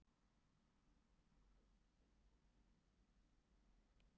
Get varla sagt það hafi vottað fyrir hreim, ekki frönskum að minnsta kosti.